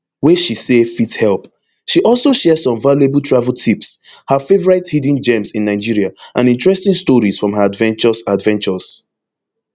wey she say fit help she also share some valuable travel tips her favorite hidden gems in nigeria and interesting stories from her adventures adventures